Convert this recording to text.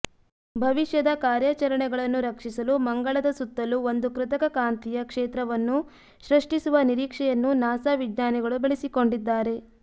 ಭವಿಷ್ಯದ ಕಾರ್ಯಾಚರಣೆಗಳನ್ನು ರಕ್ಷಿಸಲು ಮಂಗಳದ ಸುತ್ತಲೂ ಒಂದು ಕೃತಕ ಕಾಂತೀಯ ಕ್ಷೇತ್ರವನ್ನು ಸೃಷ್ಟಿಸುವ ನಿರೀಕ್ಷೆಯನ್ನೂ ನಾಸಾ ವಿಜ್ಞಾನಿಗಳು ಬೆಳೆಸಿಕೊಂಡಿದ್ದಾರೆ